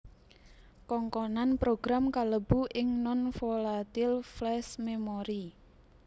Kongkonan program kalebu ing non volatile flash memory